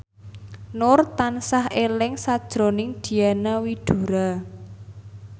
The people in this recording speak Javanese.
Nur tansah eling sakjroning Diana Widoera